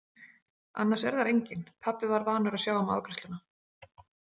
Annars er þar enginn, pabbi var vanur að sjá um afgreiðsluna.